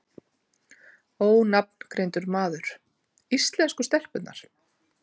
Ónafngreindur maður: Íslensku stelpurnar?